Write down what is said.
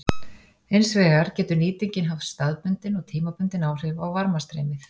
Hins vegar getur nýtingin haft staðbundin og tímabundin áhrif á varmastreymið.